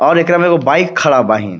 और एकरा में एगो बाइक खाड़ा बाहिं.